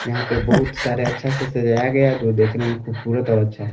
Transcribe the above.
यहां पे बहुत सारे अच्छा से सजाया गया जो देखने में खूबसूरत और अच्छा है।